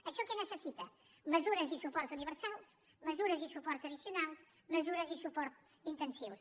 això què necessita mesures i suports universals mesures i suports addicionals mesures i suports intensius